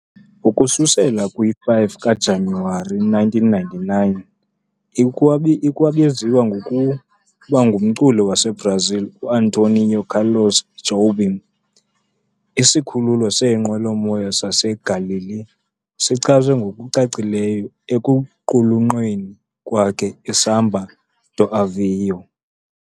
Ukususela kwi-5 kaJanuwari 1999, ikwabizwa ngokuba ngumculi waseBrazil uAntonio Carlos Jobim. Isikhululo seenqwelomoya saseGaleão sichazwe ngokucacileyo ekuqulunqweni kwakhe "iSamba do Avião."